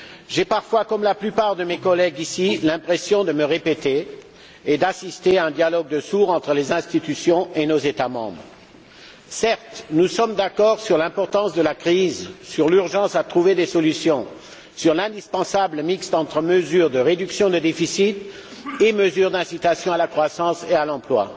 J'ai parfois, comme la plupart de mes collègues présents, l'impression de me répéter et d'assister à un dialogue de sourds entre les institutions et nos États membres. Certes, nous sommes d'accord sur l'importance de la crise, sur l'urgence à trouver des solutions, sur l'indispensable mix entre mesures de réduction de déficit et mesures d'incitation à la croissance et à l'emploi.